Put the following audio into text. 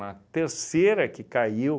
Na terceira que caiu,